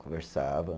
Conversava.